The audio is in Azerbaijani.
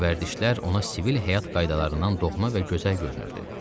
Bu vərdişlər ona sivil həyat qaydalarından doğma və gözəl görünürdü.